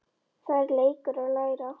Það er leikur að læra